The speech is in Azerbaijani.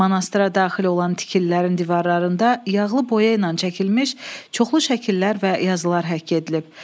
Manastıra daxil olan tikililərin divarlarında yağlı boya ilə çəkilmiş çoxlu şəkillər və yazılar həkk edilib.